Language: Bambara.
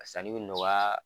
San ni bi nɔgɔya